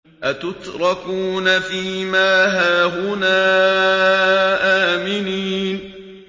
أَتُتْرَكُونَ فِي مَا هَاهُنَا آمِنِينَ